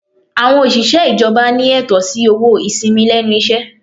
Àwọn òṣìṣẹ́ ìjọba ní ẹ̀tọ́ sí owó ìsìnmi lẹ́nu iṣẹ́.